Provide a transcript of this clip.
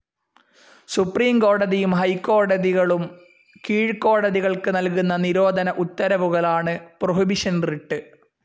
Supreme കോടതിയും, ഹൈക്കോടതികളും കീഴ്ക്കോടതികൾക്ക് നൽകുന്ന നിരോധന ഉത്തരവുകളാണ് പ്രൊഹിബിഷൻ റിട്ട്.